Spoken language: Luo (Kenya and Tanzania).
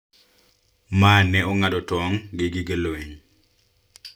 Ma ne ong`ado tong` gi gige lweny